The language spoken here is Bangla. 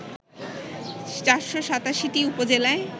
৪৮৭ উপজেলায়